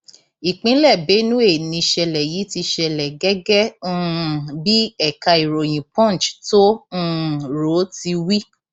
ìpínlẹ benue nìṣẹlẹ yìí ti ṣẹlẹ gẹgẹ um bí ẹka ìròyìn punch tó um rò ó ti wí